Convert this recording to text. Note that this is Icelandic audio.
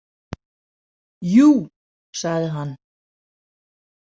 Jú, sagði hann.